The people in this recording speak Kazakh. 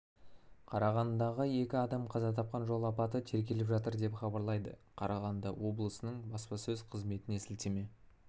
қарағандыдағы екі адам қаза тапқан жол апаты тергеліп жатыр деп хабарлайды қарағанды облысының баспасөз қызметіне сілтеме